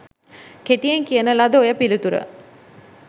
කෙටියෙන් කියන ලද ඔය පිළිතුර